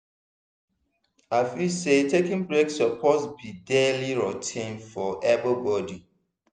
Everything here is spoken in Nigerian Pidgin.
i feel say taking breaks suppose be daily routine for everybody.